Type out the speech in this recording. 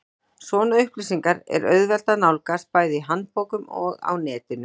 Svona upplýsingar er auðvelt að nálgast, bæði í handbókum og á netinu.